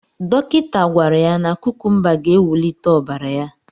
Dọkịta gwara ya na kukumba ga-ewulite ọbara ya.